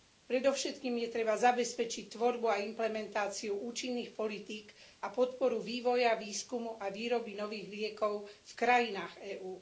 Predovšetkým treba zabezpečiť tvorbu a implementáciu účinných politík a podporu vývoja výskumu a výroby nových liekov v krajinách EÚ.